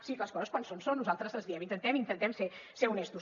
sí les coses quan són són nosaltres les diem intentem intentem ser honestos